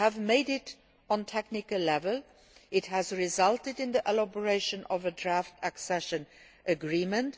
We have made it on a technical level, and it has resulted in the elaboration of a draft accession agreement.